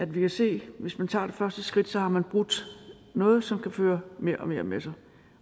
vi kan se at hvis man tager det første skridt har man brudt noget som kan føre mere og mere med sig